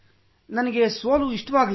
ನನಗೆ ಸೋಲು ಇಷ್ಟವಾಗಲಿಲ್ಲ